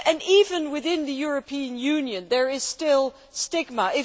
Even within the European Union, there is still stigma.